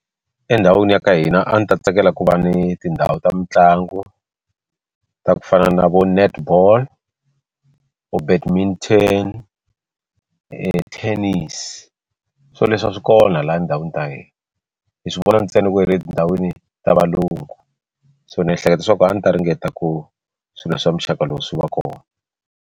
Endhawini ya ka hina a ndzi ta tsakela ku va ni tindhawu ta mitlangu ta ku fana na vo netball or tennis swo leswi a swi kona laha ndhawini ta hina hi swi vona ntsena ku etindhawini ta valungu so ni hleketa swa ku a ni ta ringeta ku swilo swa muxaka lowu swi va kona.